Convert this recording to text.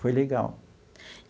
Foi legal.